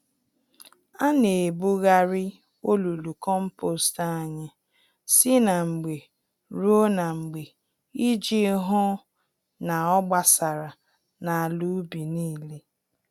Ana ebugharị olulu kompost anyị si na mgbe ruo na mgbe iji hụ n'ọgbasara n'ala ubi nílé.